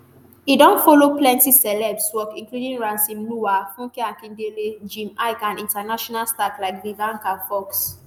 e don follow plenti celebs work including ramsey nouah funke akindele jim iyke and international stars like vivica fox.